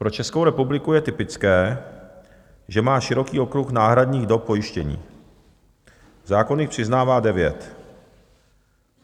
Pro Českou republiku je typické, že má široký okruh náhradních dob pojištění, zákon jich přiznává devět."